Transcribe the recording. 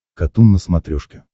катун на смотрешке